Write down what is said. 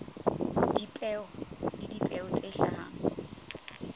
dipeo le dipeo tse hlahang